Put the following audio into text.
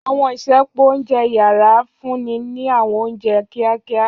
Àwọn isẹpo ounjẹ yara ti a funni ni àwọn ounjẹ kiakia.